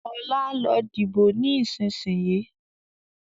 Ọlá, lọ dìbò ni ìsinsìnyí!